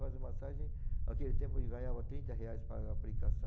Fazer massagem, naquele tempo eu ganhava trinta reais para a aplicação.